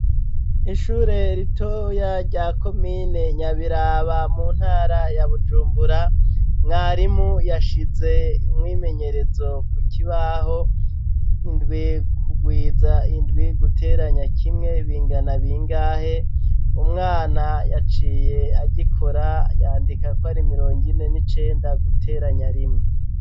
Ishure ritoya rya komine Nyabiraba mu ntara ya bujumbura , mwarimu yashize umwimenyerezo ku kibaho: indwi kugwiza indwi guteranya kimwe bingana bingahe? umwana yaciye agikora yandika ko ari mirongo ine n'icenda guteranya rime.